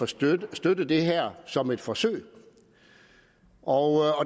støtte støtte det her som et forsøg og